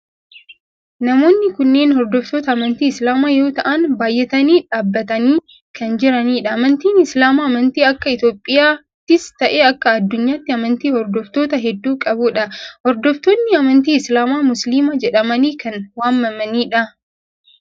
Namoonni kunneen hordoftoota amantii islaamaa yoo ta'aan baayyatanii dhaabbatanii kan jiranidha. Amantiin islaamaa amantii akka Itiyoophiyaattis ta'ee akka adduunyaatti amantii hordoftoota heddu qabudha. Hordoftoonni amantii islaamaa musliima jedhamanii kan waamamanidha.